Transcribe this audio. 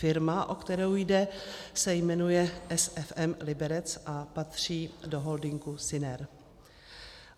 Firma, o kterou jde, se jmenuje SFM Liberec a patří do holdingu Syner.